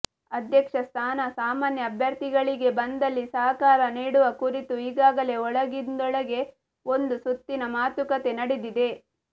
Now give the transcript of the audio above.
ಅಧ್ಯಕ್ಷ ಸ್ಥಾನ ಸಾಮಾನ್ಯ ಅಭ್ಯರ್ಥಿಗಳಿಗೆ ಬಂದಲ್ಲಿ ಸಹಕಾರ ನೀಡುವ ಕುರಿತು ಈಗಾಗಲೇ ಒಳಗಿಂದೊಳಗೆ ಒಂದು ಸುತ್ತಿನ ಮಾತುಕತೆ ನಡೆದಿದೆ